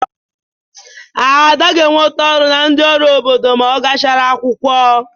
Ada ga-enweta ọrụ na ndị ọrụ obodo ma ọ gachara akwụkwọ.